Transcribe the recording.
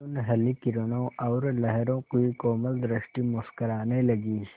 सुनहली किरणों और लहरों की कोमल सृष्टि मुस्कराने लगी